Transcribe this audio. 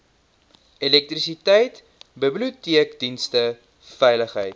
elektrisiteit biblioteekdienste veiligheid